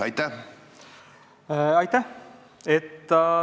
Aitäh!